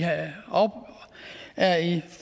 er i